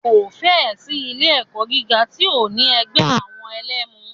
Kò fẹ́ ẹ̀ sí ilé ẹ̀kọ́ gíga tí ò ní ẹgbẹ́ àwọn ẹlẹmu.